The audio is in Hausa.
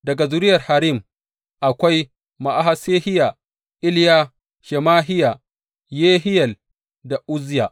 Daga zuriyar Harim, akwai Ma’asehiya, Iliya, Shemahiya, Yehiyel da Uzziya.